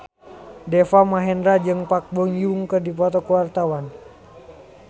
Deva Mahendra jeung Park Bo Yung keur dipoto ku wartawan